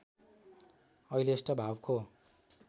अहिलेष्ट भावको